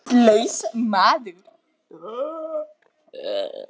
Heimilislaus maður.